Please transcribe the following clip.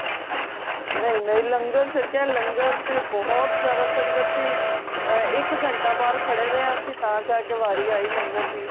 ਨਹੀਂ ਨਹੀਂ ਲੰਗਰ ਛਕਿਆ ਲੰਗਰ ਤੇ ਬਹੁਤ ਜ਼ਿਆਦਾ ਸੰਗਤ ਸੀ ਇੱਕ ਘੰਟਾ ਬਾਹਰ ਖੜੇ ਰੇਯਾ ਤਾ ਜਾਕੇ ਵਾਰੀ ਆਈ ਲੰਗਰ ਦੀ